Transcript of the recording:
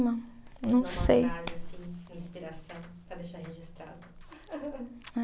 Não sei. Uma frase assim, inspiração, para deixar registrado. Ah